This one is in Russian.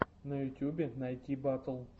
на ютубе найти батл